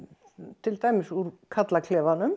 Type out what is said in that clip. til dæmis úr